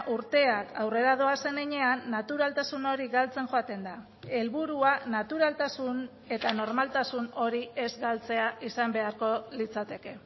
urteak aurrera doazen heinean naturaltasun hori galtzen joaten da helburua naturaltasun eta normaltasun hori ez galtzea izan beharko litzateke